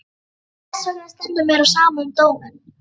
Og þessvegna stendur mér á sama um dóminn.